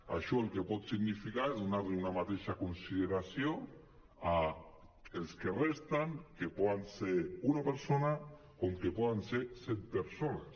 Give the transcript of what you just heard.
això el que pot significar és donar·li una mateixa consideració als que resten que poden ser una persona com que poden ser set persones